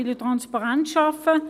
– Man will Transparenz schaffen.